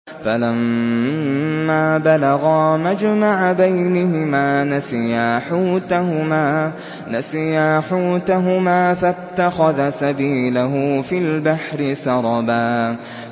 فَلَمَّا بَلَغَا مَجْمَعَ بَيْنِهِمَا نَسِيَا حُوتَهُمَا فَاتَّخَذَ سَبِيلَهُ فِي الْبَحْرِ سَرَبًا